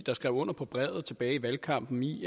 der skrev under på brevet tilbage i valgkampen i